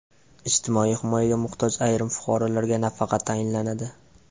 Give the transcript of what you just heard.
Ijtimoiy himoyaga muhtoj ayrim fuqarolarga nafaqa tayinlanadi.